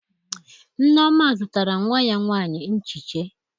Nneoma zụtara nwa ya nwaanyị nchiche